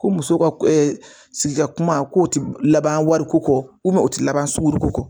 Ko muso ka sigida kuma kow tɛ laban wari ko kɔ u tɛ laban suru